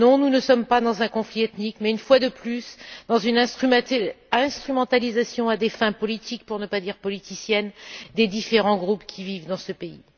Non, nous ne sommes pas dans un conflit ethnique mais, une fois de plus, dans une instrumentalisation à des fins politiques, pour ne pas dire politiciennes, des différents groupes qui vivent dans ce pays.